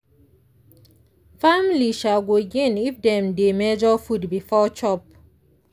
family um go gain if dem dey measure food before chop.